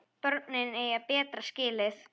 Börnin eiga betra skilið.